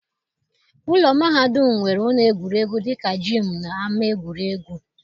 Ụlọ mahadum nwere ụlọ egwuregwu dị ka jiimu na ama egwuregwu.